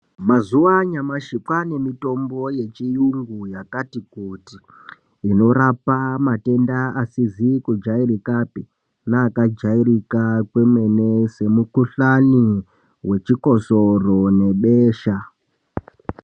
Mazuwa anyamashi kwane mitombo yechiyungu yakati kuti inorapa matenda asizi kujairikapi neakajairika kwemene semukuhlani wechikosoro nebesha.